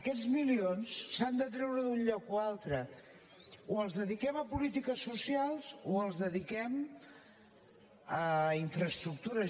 aquests milions s’han de treure d’un lloc o altre o els dediquem a polítiques socials o els dediquem a infraestructures